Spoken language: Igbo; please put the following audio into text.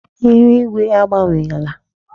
Ihu ígwé agbanwela.